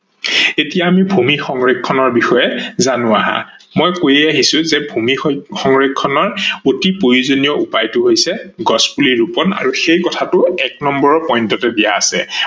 এতিয়া আমি ভূমি সংৰক্ষনৰ বিষয়ে জানো আহা, মই কৈয়েই আহি ছো যে ভূমি সংৰক্ষনৰ অতি প্ৰয়োজনীয় উপায়টা হৈছে গছ পুলি ৰুপন আৰু সেই কথাটো এক নম্বৰ point তে দিয়া আছে।